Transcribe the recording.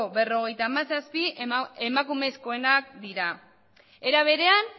berrogeita hamazazpi emakumezkoenak dira era berean